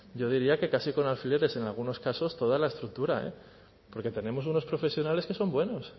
yo diría que casi con alfileres en algunos casos toda la estructura eh porque tenemos unos profesionales que son buenos